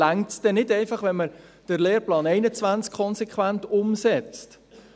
Reicht es denn nicht einfach, wenn man den Lehrplan 21 konsequent umsetzt?